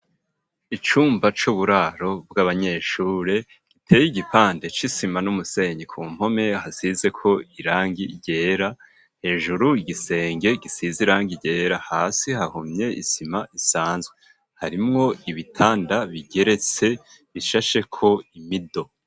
Icumba c'uburaro bw'abanyeshure, giteye igipande c'isima n'umusenyi ku mpome, hasizeko irangi ryera, hejuru igisenge gisize irangi ryera, hasi hahomye isima isanzwe, harimwo ibitanda bigeretse bishasheko imido.